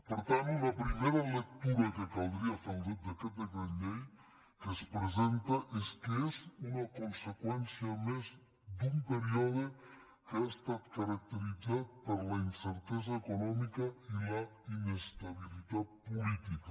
per tant una primera lectura que caldria fer d’aquest decret llei que es presenta és que és una conseqüència més d’un període que ha estat caracteritzat per la incertesa econòmica i la inestabilitat política